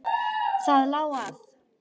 Það lá að.